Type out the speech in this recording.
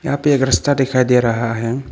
यहां पे एक रास्ता दिखाई दे रहा है।